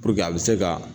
a bɛ se ka